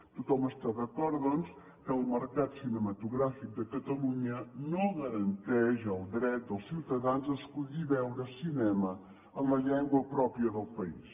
tothom està d’acord doncs que el mercat cinematogràfic de catalunya no garanteix el dret dels ciutadans a escollir veure cinema en la llengua pròpia del país